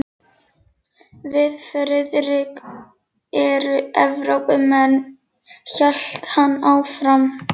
Við Friðrik erum Evrópumenn hélt hann áfram.